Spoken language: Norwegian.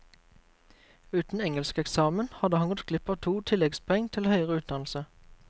Uten engelskeksamen hadde han gått glipp av to tilleggspoengene til høyere utdannelse.